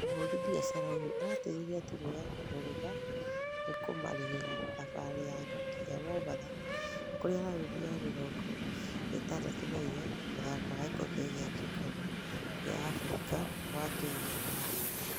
Mũhũri biacara ũyu arateĩthira timũ ya mugutha nĩkũmarĩhĩra thabari yao nginya mombasa kũrĩa raũndi ya mĩrongo ĩtandatũ na inya mũthako wa gĩkobe gia kĩũngano gia mũfira wa kenya ũrahanĩkaga.